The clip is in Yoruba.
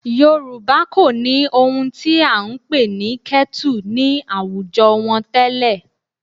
Yorùbá kò ní ohun tí à ń pè ní kẹ́tù ní àwùjọ wọn tẹ́lẹ̀